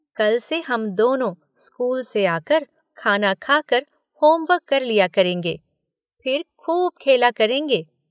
कल से हम दोनों स्कूल से आकर, खाना खाकर, होमवर्क कर लिया करेंगे। फिर खूब खेला करेंगे।